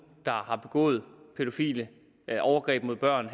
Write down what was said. har begået pædofile overgreb mod børn